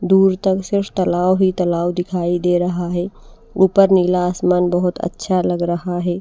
दूर तक सिर्फ तलाव ही तलाव दिखाई दे रहा है ऊपर नीला आसमान बहुत अच्छा लग रहा है।